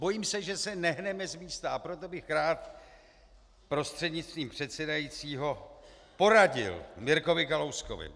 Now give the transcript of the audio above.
Bojím se, že se nehneme z místa, a proto bych rád prostřednictvím předsedajícího poradil Mirkovi Kalouskovi.